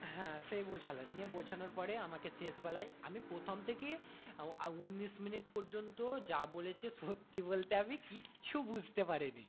হ্যাঁ সেই বোঝালেন নিয়ে বোঝানোর পরে আমাকে শেষ বেলায় আমি প্রথম থেকে উনিশ minute পর্যন্ত যা বলেছে সত্যি বলতে আমি কিছু বুঝতে পারিনি।